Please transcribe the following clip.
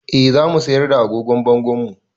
Eh za mu siyar da agogon bangonmu